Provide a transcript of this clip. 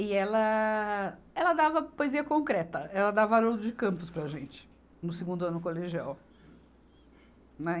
E ela, ela dava poesia concreta, ela dava Haroldo de Campos para a gente, no segundo ano colegial.